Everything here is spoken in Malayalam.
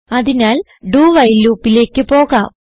അതിനാൽ doവൈൽ ലൂപ്പ് ലേക്ക് പോകാം